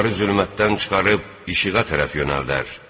Onları zülmətdən çıxarıb işığa tərəf yönəldər.